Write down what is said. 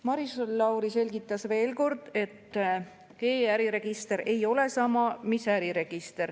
Maris Lauri selgitas veel kord, et e‑äriregister ei ole sama mis äriregister.